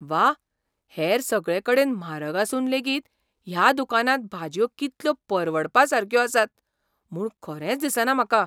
वाह, हेर सगळेकडेन म्हारग आसून लेगीत ह्या दुकानांत भाजयो कितल्यो परवडपा सारक्यो आसात म्हूण खरेंच दिसना म्हाका!